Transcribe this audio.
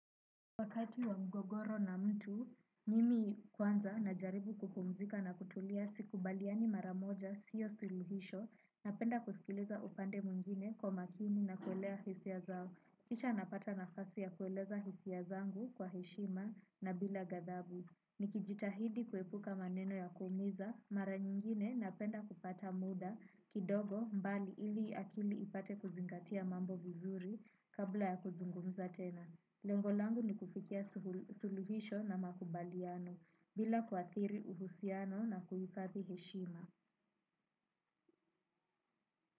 Wakati wa mgogoro na mtu, mimi kwanza najaribu kupumzika na kutulia sikubaliani mara moja, sio suluhisho, napenda kusikiliza upande mwingine kwa makini na kuelewa hisia zao. Kisha napata nafasi ya kueleza hisia zangu kwa heshima na bila gathabu. Nikijitahidi kuepuka maneno ya kuumiza, mara nyingine napenda kupata muda, kidogo mbali ili akili ipate kuzingatia mambo vizuri kabla ya kuzungumza tena. Lengo langu ni kufikia suluhisho na makubaliano bila kuathiri mahusiano na kuathiri heshima.